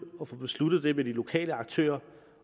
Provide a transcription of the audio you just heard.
besluttet det med de lokale aktører